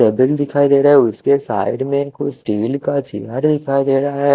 cabin दिखाई देरा है उसके साइड में कुछ स्टील का चेयर दिखाई देरा ह--